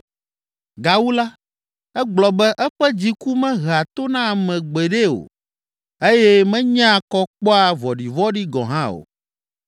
Gawu la, egblɔ be eƒe dziku mehea to na ame gbeɖe o eye menyea kɔ kpɔa vɔ̃ɖivɔ̃ɖi gɔ̃ hã o.